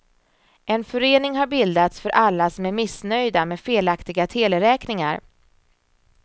En förening har bildats för alla som är missnöjda med felaktiga teleräkningar.